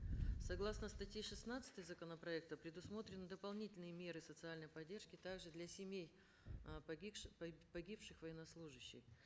согласно статьи шестнадцатой законопроекта предусмотрены дополнительные меры социальной поддержки также для семей э погибших погибших военнослужащих